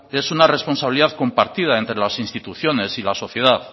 es una responsabilidad compartida entre las instituciones y la sociedad